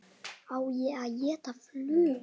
Á ég að gera flugu?